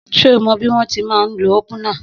Só mọ bi wọn tímà ńlo òpúnà?